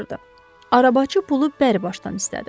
Arabaçı pulu bər başdan istədi.